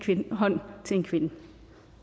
hånd til en kvinde